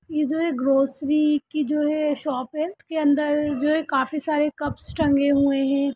इ जो हेय ग्रोसरी की जो हेय शॉप हेय उसके अंदर जो हेय काफी सारे कप्स टंगे हुए हैं।